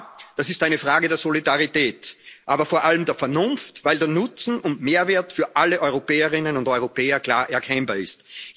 Ja, das ist eine Frage der Solidarität, aber vor allem der Vernunft, weil der Nutzen und Mehrwert für alle Europäerinnen und Europäer klar erkennbar ist.